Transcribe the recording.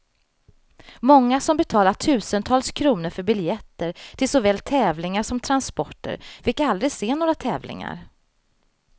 Många som betalat tusentals kronor för biljetter till såväl tävlingar som transporter fick aldrig se några tävlingar.